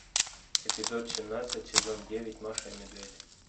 эпизод семнадцать сезон девять маша и медведь